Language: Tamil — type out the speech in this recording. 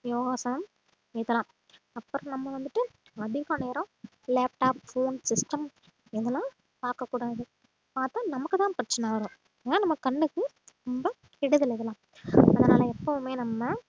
யோகாசம் செய்யலாம் அப்புறம் நம்ம வந்துட்டு அதிக நேரம் laptop, phone, system இதெல்லாம் பார்க்கக் கூடாது பார்த்தா நமக்குதான் பிரச்சனை வரும் ஏன்னா நம்ம கண்ணுக்கு ரொம்ப கெடுதல் இதெல்லாம் அதனால எப்பவுமே நம்ம